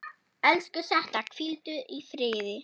Elsku Setta, hvíldu í friði.